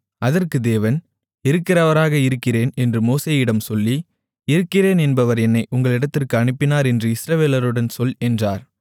அதற்கு தேவன் இருக்கிறவராக இருக்கிறேன் என்று மோசேயுடன் சொல்லி இருக்கிறேன் என்பவர் என்னை உங்களிடத்திற்கு அனுப்பினார் என்று இஸ்ரவேலர்களுடன் சொல் என்றார்